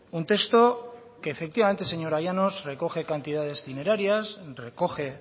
un texto que efectivamente señora llanos recoge cantidades dineraria recoge